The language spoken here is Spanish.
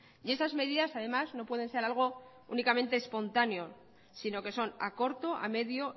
y esas medidas además no pueden ser algo únicamente espontáneo sino que son a corto a medio